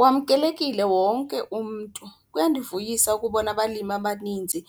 Wamkelekile wonke umntu, kuyandivuyisa ukubona abalimi abaninzi